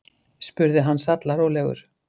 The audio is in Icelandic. spurði hann sallarólegur.